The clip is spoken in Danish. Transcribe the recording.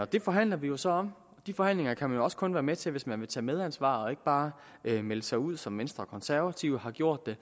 det forhandler vi vi så om og de forhandlinger kan man jo også kun være med til hvis man vil tage medansvar og ikke bare melde sig ud som venstre og konservative har gjort det